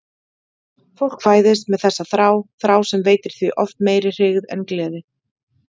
Fólk fæðist með þessa þrá, þrá sem veitir því oft meiri hryggð en gleði.